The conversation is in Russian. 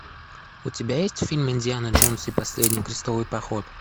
у тебя есть фильм индиана джонс и последний крестовый поход